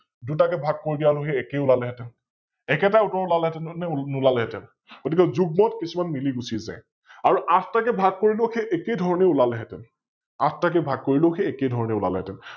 দুটাকৈ ভাগ কৰি দিয়া আৰু সৈ একে ওলালে হেতেন, একেটা উত্তৰ ওলালে হেতেন নে নোলালে হেতেন? গতিকে যুগ্মত কিছুমান মিলি গুচি যায় । আৰু আঠটা কৈ ভাগ কৰিলেও সৈ একে ধৰণে ওলালে হেতেন । আঠটা কৈ ভাগ কৰিলেও সৈ একে ধৰণে ওলালে হেতেন ।